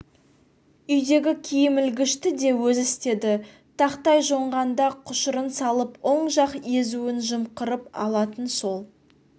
үйдегі киім ілгішті де өзі істеді тақтай жонғанда құшырын салып оң жақ езуін жымқырып алатын сол